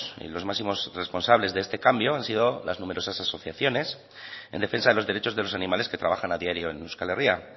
y los máximos responsables de este cambio han sido las numerosas asociaciones en defensa de los derechos de los animales que trabajan a diario en euskal herria